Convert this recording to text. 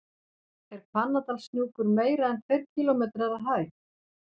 Er Hvannadalshnjúkur meira en tveir kílómetrar að hæð?